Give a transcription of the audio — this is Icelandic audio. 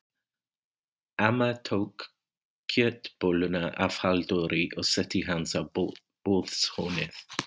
Amma tók kjötbolluna af Halldóri og setti hana á borðshornið.